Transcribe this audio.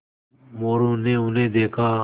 मोरू ने उन्हें देखा